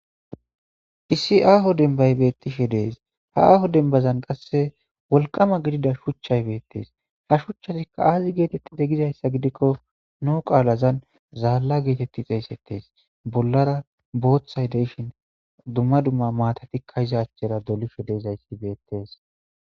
Issi aho denbay betishe dees ha aho denban qasse wolqama gidida shuchay bettes ha shuchatikka azzi gizza gidikko nuu qalan zalla gixeseetes bollara bothay deyishin dumma dumma izza achara dolishe de'zayssi bettes.